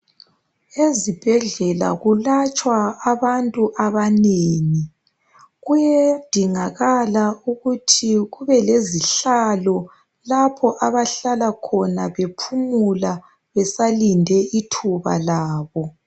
Ezibhedlela kulatshwa abantu abanengi. Kuyedingakala ukuthi kuyedingakala ukuthi kubelezihlalo lapho abahlala khona bephumula besalinde ithuba labo.